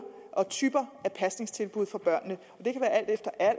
og typer af pasningstilbud for børnene